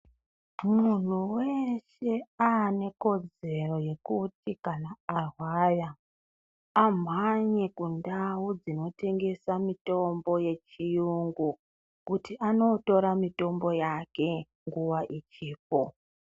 Muntu weshe aane kodzero yekuti kana arwara amhanye kundau dzinotengesa mitombo yechiyungu kuti anootora mitombo yake nguva ichipo.